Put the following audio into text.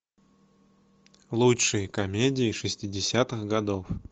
лучшие комедии шестидесятых годов